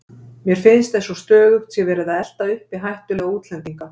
Mér finnst eins og stöðugt sé verið að elta uppi hættulega útlendinga.